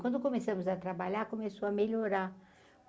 Quando começamos a trabalhar, começou a melhorar.